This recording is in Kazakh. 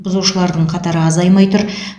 бұзушылардың қатары азаймай тұр